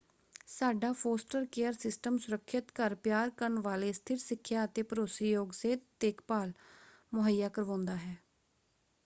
ਸਾਡਾ foster care system ਸੁਰੱਖਿਅਤ ਘਰ ਪਿਆਰ ਕਰਨ ਵਾਲੇ ਸਥਿਰ ਸਿੱਖਿਆ ਅਤੇ ਭਰੋਸੇਯੋਗ ਸਿਹਤ ਦੇਖਭਾਲ ਮੁਹੱਈਆ ਕਰਵਾਉਂਦਾ ਹੈ।